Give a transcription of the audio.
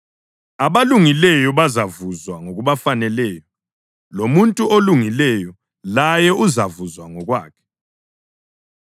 Abangelakho bazavuzwa ngokubafaneleyo, lomuntu olungileyo laye avuzwe ngokwakhe.